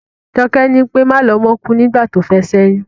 Joké ní pé, Malomó kúú nígbà tófé s'éyún.